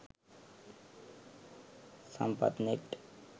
sampathnet